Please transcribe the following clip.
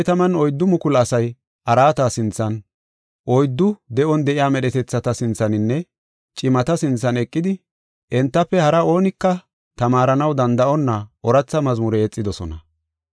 144,000 asay araata sinthan, oyddu de7on de7iya medhetethata sinthaninne cimata sinthan eqidi entafe hara oonika tamaaranaw danda7onna ooratha mazmure yexidosona.